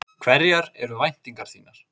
Hverjar eru væntingar þínar?